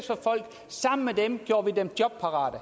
os sammen med dem gjorde vi dem jobparate